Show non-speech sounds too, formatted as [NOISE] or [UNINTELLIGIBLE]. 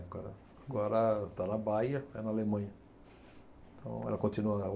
Agora, agora está na Bayer, é na Alemanha. Então ela continua na [UNINTELLIGIBLE]